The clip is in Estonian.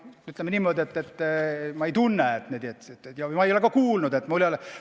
Ütleme niimoodi, et ma ei tunneta seda ja ma ei ole ka kuulnud, et keegi teine tunnetaks.